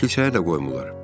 Kilsəyə də qoymurlar.